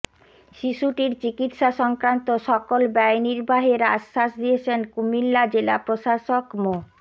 শিশুটির চিকিৎসা সংক্রান্ত সকল ব্যয় নির্বাহের আশ্বাস দিয়েছেন কুমিল্লা জেলা প্রশাসক মো